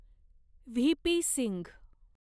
VP. Singh